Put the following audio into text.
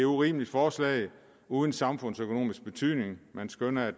urimeligt forslag uden samfundsøkonomisk betydning man skønner at